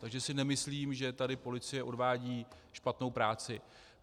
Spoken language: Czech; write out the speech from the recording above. Takže si nemyslím, že tady policie odvádí špatnou práci.